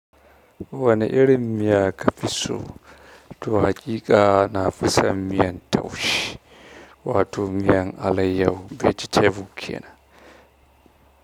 Wani irin miya kafiso, to hakiƙa na fi son miyan taushe. Wato miyan alaiyahu vece tebu kenan.